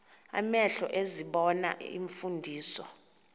amehlo ezibona iimfundiso